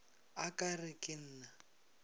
a ka re ke na